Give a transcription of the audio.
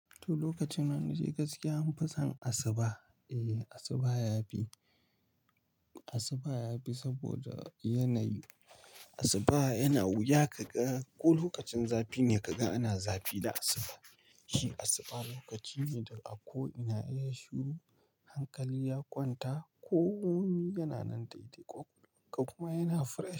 To lokacin nan na ji gaske an fi son asuba. Eh asuba ya fi, asuba ya fi saboda yanayi Asuba yana wuya ka ga ko lokacin zafi ne ka ga ana zafi da asuba. Shi asuba lokaci ne da a ko ina, ya shuru, hankali ya kwanta, komi yana nan daidai ko, kai ko yana fresh.